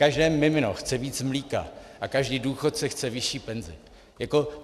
Každé mimino chce víc mléka a každý důchodce chce vyšší penzi.